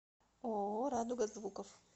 ооо радуга звуков